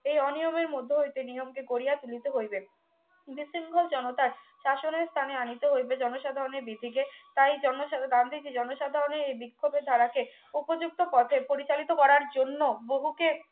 এই অনিয়মের মধ্যে হইতে নিয়মকে গড়িয়া তুলিতে হইবে বিশৃংখল জনতার শাসনের স্থানে আনিতে হইবে জনসাধারণের VC কে তাই জন গান্ধীজী জনসাধারণের এই বিক্ষোভের ধারা কে উপযুক্ত পর্যায়ে পরিচালিত করার জন্য বহুকে